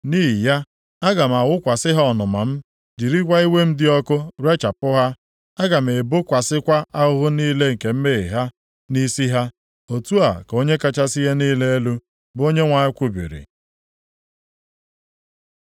Nʼihi ya, aga m awụkwasị ha ọnụma m, jirikwa iwe m dị ọkụ rechapụ ha. Aga m ebokwasịkwa ahụhụ niile nke mmehie ha, nʼisi ha, otu a ka Onye kachasị ihe niile elu, bụ Onyenwe anyị kwubiri.”